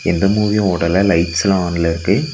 எந்த மூவியு ஓடல லைட்ஸ்லா ஆன்ல இருக்கு.